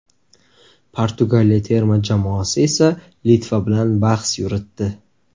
Portugaliya terma jamoasi esa Litva bilan bahs yuritdi.